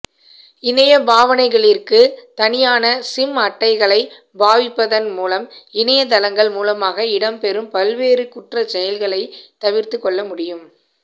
இணைய பாவனைகளிற்கு தனியான சிம் அட்டைகளை பாவிப்பதன் மூலம் இணையத்தளங்கள் மூலமாக இடம்பெறும் பல்வேறு குற்றசெயல்களை தவிர்த்துக்கொள்ள முடியும்